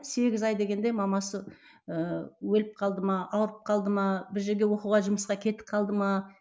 сегіз ай дегенде мамасы ыыы өліп қалды ма ауырып қалды ма бір жерге оқуға жұмысқа кетіп қалды ма